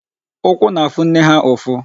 Ụkwụ na-afụ nne ha ụfụ.